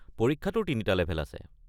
পৰীক্ষাটোৰ তিনিটা লেভেল আছে।